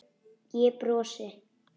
Ég brosi.